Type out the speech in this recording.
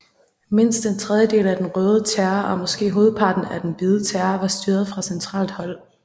Mindst en tredjedel af den røde terror og måske hovedparten af den hvide terror var styret fra centralt hold